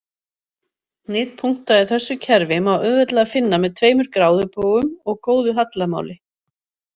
Hnit punkta í þessu kerfi má auðveldlega finna með tveimur gráðubogum og góðu hallamáli.